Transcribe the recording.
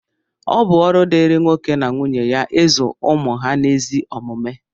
ọ bụ ọrụ dịịrị nwoke na nwunye ya ịzụ ụmụ ha n’ezi omume